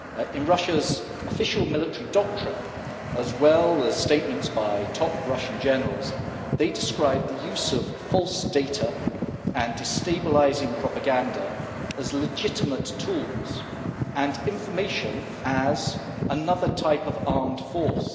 In Russia's official military doctrine, as well as statements by top Russian generals, they describe the use of false data and destabilising propaganda as legitimate tools, and information as another type of armed force.